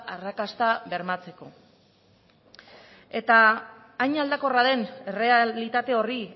arrakasta bermatzeko hain aldakorra den errealitate horri